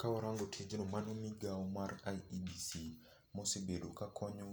Kawarango tijno mano migao mar IEBC ma osebedo ka konyo